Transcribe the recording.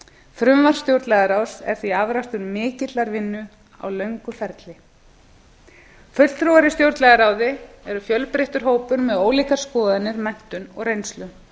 frumvarp stjórnlagaráðs er því afrakstur mikillar vinnu á löngum ferli fulltrúar í stjórnlagaráði eru fjölbreyttur hópur með ólíkar skoðanir menntun og reynslu